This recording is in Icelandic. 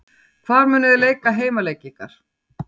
Hvar munuð þið leika heimaleiki ykkar?